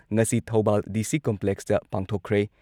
ꯉꯁꯤ ꯊꯧꯕꯥꯜ ꯗꯤ.ꯁꯤ. ꯀꯝꯄ꯭ꯂꯦꯛꯁꯇ ꯄꯥꯡꯊꯣꯛꯈ꯭ꯔꯦ ꯫